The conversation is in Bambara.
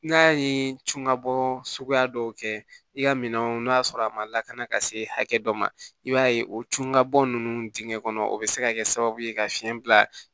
N'a ye cunkabɔ suguya dɔw kɛ i ka minɛnw n'a sɔrɔ a ma lakana ka se hakɛ dɔ ma i b'a ye o tun ka bɔ ninnu dingɛn kɔnɔ o bɛ se ka kɛ sababu ye ka fiɲɛ bila